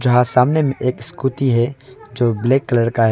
हां सामने मे एक स्कूटी है जो ब्लैक कलर का है।